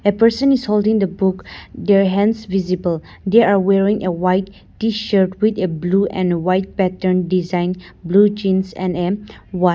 a person is holding the book their hands visible their are wearing a white T shirt with a blue and white pattern design blue jeans and a wat .